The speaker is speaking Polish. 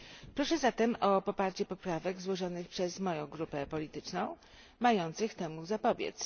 Proszę zatem o poparcie poprawek złożonych przez moją grupę polityczną mających temu zapobiec.